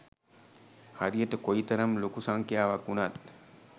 හරියට කොයි තරම් ලොකු සංඛ්‍යාවක් වුණත්